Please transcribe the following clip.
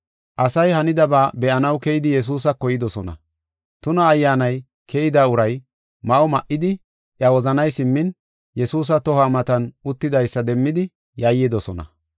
Asay hanidaba be7anaw keyidi Yesuusako yidosona. Tuna ayyaanay keyida uray ma7o ma7idi, iya wozanay simmin, Yesuusa toho matan uttidaysa demmidi yayyidosona.